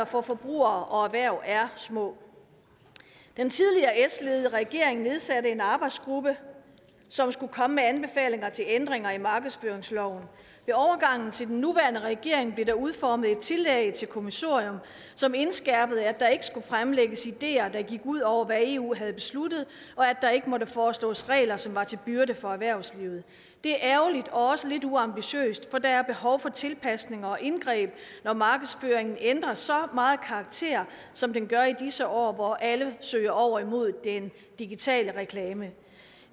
for forbrugere og erhverv er små den tidligere s ledede regering nedsatte en arbejdsgruppe som skulle komme med anbefalinger til ændringer i markedsføringsloven ved overgangen til den nuværende regering blev der udformet et tillæg til kommissoriet som indskærpede at der ikke skulle fremlægges ideer der gik ud over hvad eu havde besluttet og at der ikke måtte foreslås regler som var til byrde for erhvervslivet det er ærgerligt og også lidt uambitiøst for der er behov for tilpasninger og indgreb når markedsføringen ændrer så meget karakter som den gør i disse år hvor alle søger over imod den digitale reklame